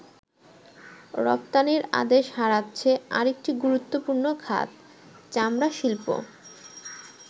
রপ্তানির আদেশ হারাচ্ছে আরেকটি গুরুত্বপূর্ণ খাত, চামড়া শিল্প।